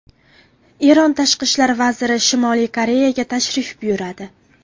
Eron tashqi ishlar vaziri Shimoliy Koreyaga tashrif buyuradi.